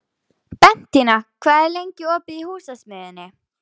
Bentína, hvað er lengi opið í Húsasmiðjunni?